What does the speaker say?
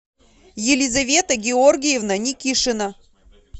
елизавета георгиевна никишина